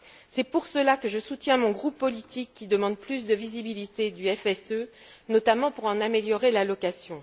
C'est pour cela que je soutiens mon groupe politique qui demande plus de visibilité du FSE, notamment pour en améliorer l'allocation.